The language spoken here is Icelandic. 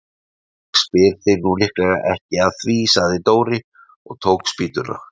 Ég spyr þig nú líklega ekki að því sagði Dóri og tók spýtuna.